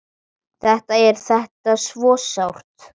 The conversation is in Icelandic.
Þetta er þetta svo sárt!